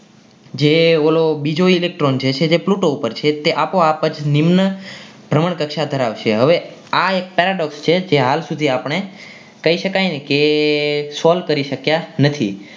જે ઓલો એ બીજો electron છે તે Pluto ઉપર છે તે આપોઆપ જ નિમ્ન ભ્રમણ કક્ષા ધરાવશે હવે એક પેરાડો છે જે હાલ સુધી આપણે કહી શકાય કે solve કરી શક્યા નથી.